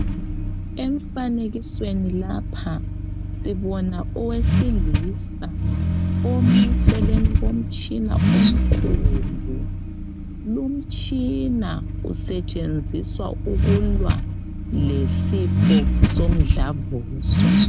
Emfanekisweni lapha sibona owesilisa ome eceleni komtshina omkhulu. Lumtshina usetshenziswa ukulwa lesifo somdlavuzo.